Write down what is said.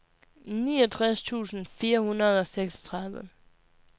niogtres tusind fire hundrede og seksogtredive